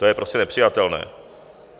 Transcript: To je prostě nepřijatelné.